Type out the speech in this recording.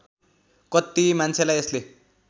कत्ति मान्छेलाई यसले